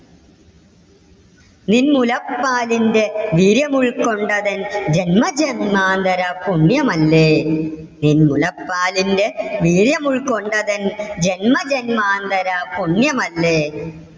നിൻമുലപ്പാലിന്റെ വീര്യം ഉൾക്കൊണ്ടതെൻ ജന്മജന്മാന്തര പുണ്യമല്ലേ. നിൻമുലപ്പാലിന്റെ വീര്യം ഉൾക്കൊണ്ടതെൻ ജന്മജന്മാന്തര പുണ്യമല്ലേ.